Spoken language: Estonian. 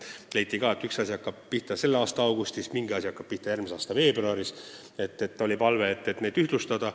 Viidati, et mingi regulatsioon hakkab kehtima selle aasta augustis, mingi regulatsioon järgmise aasta veebruaris, ning paluti seda ühtlustada.